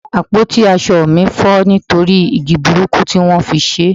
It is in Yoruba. àpótí asọ mi fọ nitori igi burúkú ti won fi ṣe